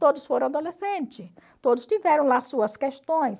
Todos foram adolescentes, todos tiveram lá suas questões.